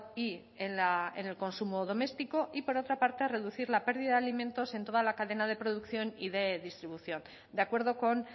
y en el consumo doméstico y por otra parte reducir la pérdida de alimentos en toda la cadena de producción y de distribución de acuerdo con